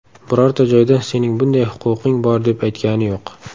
Birorta joyda sening bunday huquqing bor, deb aytgani yo‘q.